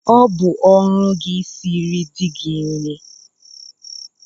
Ọ bụ ọrụ gị isiri di gị nri!